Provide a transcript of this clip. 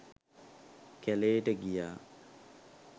කැළේට ගියා.